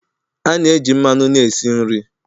A na-eji mmanụ na-esi nri